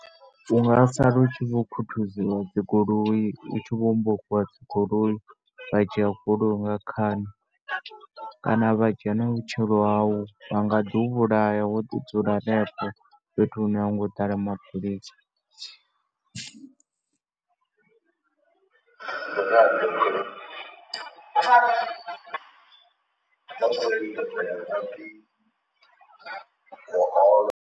U nga sala u tshi vho khuthuziwa dzi goloi, u tshi vho hombokiwa dzi goloi, vha dzhia goloi nga khani. Kana vha dzhia na vhutshilo hau, vha nga ḓi u vhulaya wo ḓi dzula henefho, fhethu hune a ho ngo ḓa la mapholisa.